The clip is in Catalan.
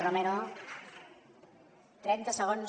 trenta segons